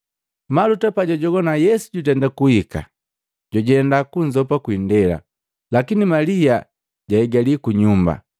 Maluta pajwajogwana Yesu jutenda kuhika, jwajenda kunzopa kuindela, lakini Malia jwaigali ku nyumba.